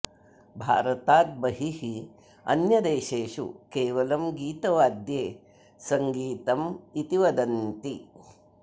भारतात् बहिः अन्यदेशेषु केवलं गीतवाद्ये सङ्गीतम् इति वदन्ति